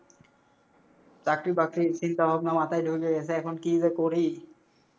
চাকরি বাকরির চিন্তা ভাবনা মাথায় ঢুইকে গেছে এখন কি যে করি।